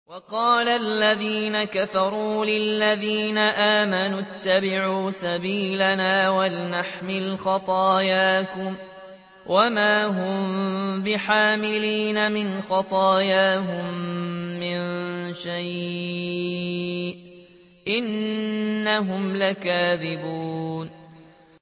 وَقَالَ الَّذِينَ كَفَرُوا لِلَّذِينَ آمَنُوا اتَّبِعُوا سَبِيلَنَا وَلْنَحْمِلْ خَطَايَاكُمْ وَمَا هُم بِحَامِلِينَ مِنْ خَطَايَاهُم مِّن شَيْءٍ ۖ إِنَّهُمْ لَكَاذِبُونَ